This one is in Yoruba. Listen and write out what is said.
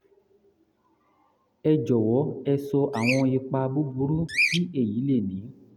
ẹ jọwọ ẹ sọ àwọn ipa búburú tí èyí lè ní